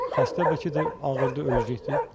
Xəstə bəlkə də ağırdır, öləcəkdir.